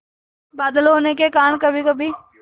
बादल होने के कारण कभीकभी